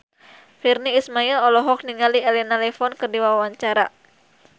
Virnie Ismail olohok ningali Elena Levon keur diwawancara